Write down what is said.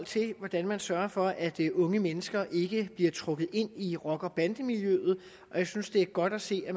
til hvordan man sørger for at unge mennesker ikke bliver trukket ind i rocker og bandemiljøet og jeg synes det er godt at se at